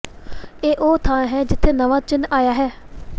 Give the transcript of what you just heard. ਇਹ ਉਹ ਥਾਂ ਹੈ ਜਿੱਥੇ ਨਵਾਂ ਚਿੰਨ੍ਹ ਆਇਆ ਹੈ